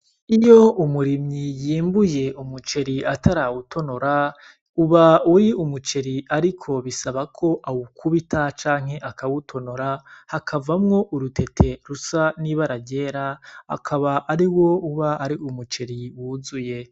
Iyo umurimyi yimbuye umuceri atarawutonora, uba uri umuceri ariko bisaba ko awukubita canke akawutonora, hakavamwo urutete rusa n'ibara ryera, akaba ariwo uba uri umuceri wuzuye.